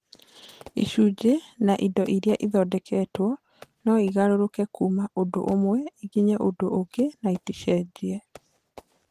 Icunjĩ na indo iria ithondeketwo no igarũrũke kuuma ũndũ ũmwe ikinye ũndũ ũngĩ na iticenjie